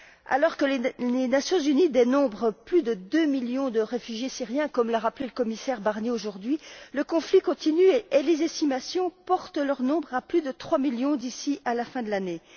Alors que les Nations unies dénombrent plus de deux millions de réfugiés syriens, comme l'a rappelé le commissaire Barnier aujourd'hui, le conflit continue, et les estimations portent leur nombre à plus de trois millions d'ici à la fin de l'année.